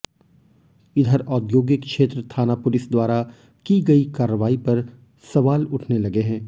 इधर औद्योगिक क्षेत्र थाना पुलिस द्वारा की गई कार्रवाई पर सवाल उठने लगे हैं